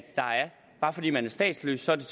bare fordi man er statsløs er det